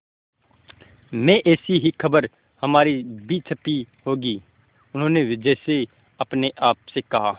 में ऐसी ही खबर हमारी भी छपी होगी उन्होंने जैसे अपने आप से कहा